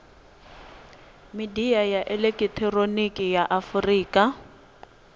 midia ya elekihironiki ya afurika